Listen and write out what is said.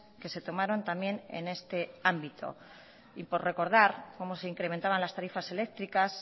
que se tomaron también en este ámbito y por recordar cómo se incrementaban las tarifas eléctricas